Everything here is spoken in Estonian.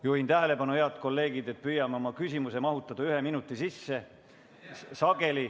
Juhin tähelepanu, head kolleegid, et püüame oma küsimuse mahutada ühe minuti sisse.